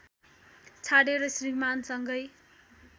छाडेर श्रीमानसँगै